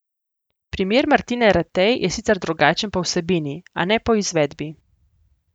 Primer Martine Ratej je sicer drugačen po vsebini, a ne po izvedbi.